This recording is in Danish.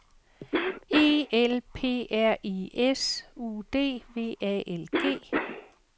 E L P R I S U D V A L G